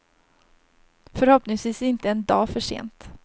Förhoppningsvis inte en dag för sent.